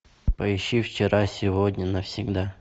поищи вчера сегодня навсегда